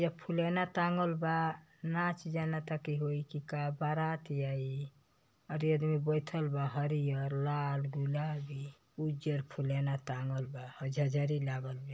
या फूलोना टाँगल बा। नाच जानता की होई कि बारात आई औरी आदमी बइठल बा। हरियर लाल गुलाबी उज्जर फूलोना टाँगल बा। हई जजरी लागल बे --